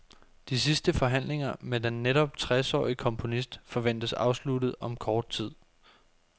De sidste forhandlinger med den netop tresårige komponist forventes afsluttet om kort tid.